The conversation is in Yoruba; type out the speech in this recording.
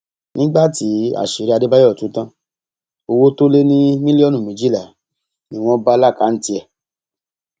nígbà tí àṣírí adébáyò tú tán owó tó lé ní mílíọnù méjìlá ni wọn bá lákàntì ẹ